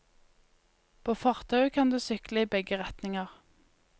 På fortauet kan du sykle i begge retninger.